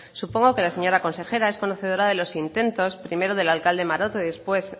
supongo que la señora consejera es conocedora de los intentos primero del alcalde maroto y después